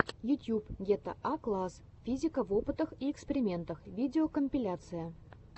ютьюб гетаакласс физика в опытах и экспериментах видеокомпиляция